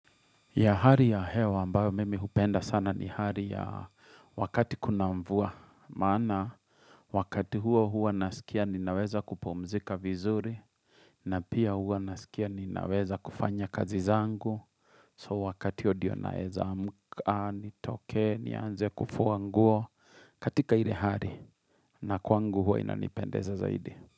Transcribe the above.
Ya hari ya hewa ambayo mimi hupenda sana ni hari ya wakati kuna mvua. Maana wakati huo huo nasikia ninaweza kupumzika vizuri. Na pia huo nasikia ninaweza kufanya kazi zangu. So wakati huo ndio naweza amka nitoke ni nze kufuanguo katika ile hari. Na kwangu huwa inanipendeza zaidi.